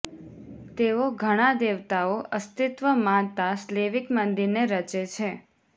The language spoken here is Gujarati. તેઓ ઘણા દેવતાઓ અસ્તિત્વ માનતા સ્લેવિક મંદિરને રચે છે